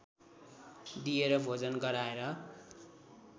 दिएर भोजन गराएर